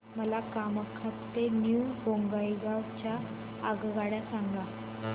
मला कामाख्या ते न्यू बोंगाईगाव च्या आगगाड्या सांगा